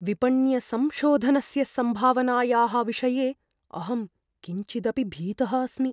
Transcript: विपण्यसंशोधनस्य सम्भावनायाः विषये अहं किञ्चिदपि भीतः अस्मि।